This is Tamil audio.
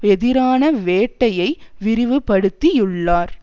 எதிரான வேட்டையை விரிவுபடுத்தியுள்ளார்